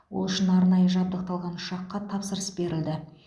ол үшін арнайы жабдықталған ұшаққа тапсырыс берілді